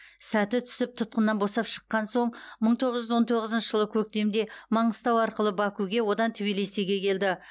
сәті түсіп тұтқыннан босап шыққан соң мың тоғыз жүз он тоғызыншы жылы көктемде маңғыстау арқылы бакуге одан тбилисиге келді